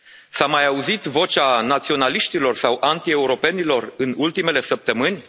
S a mai auzit vocea naționaliștilor sau antieuropenilor în ultimele săptămâni?